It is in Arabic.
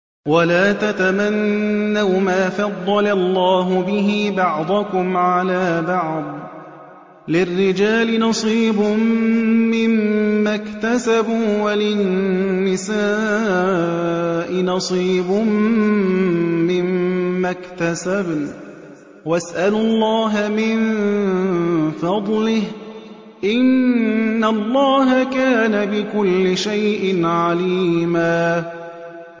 وَلَا تَتَمَنَّوْا مَا فَضَّلَ اللَّهُ بِهِ بَعْضَكُمْ عَلَىٰ بَعْضٍ ۚ لِّلرِّجَالِ نَصِيبٌ مِّمَّا اكْتَسَبُوا ۖ وَلِلنِّسَاءِ نَصِيبٌ مِّمَّا اكْتَسَبْنَ ۚ وَاسْأَلُوا اللَّهَ مِن فَضْلِهِ ۗ إِنَّ اللَّهَ كَانَ بِكُلِّ شَيْءٍ عَلِيمًا